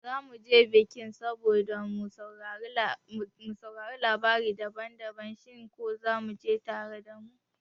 zamu je bikin saboda mu saurari labarai daban-daban, shin ko zaku je tare da mu?